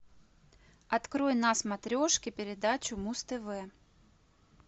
открой на смотрешке передачу муз тв